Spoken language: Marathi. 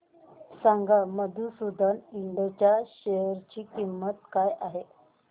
सांगा मधुसूदन इंड च्या शेअर ची किंमत काय आहे